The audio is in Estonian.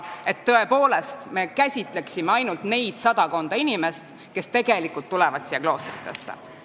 Nii et me tõepoolest peame silmas ainult neid sadakonda inimest, kes tulevad meie kloostritesse.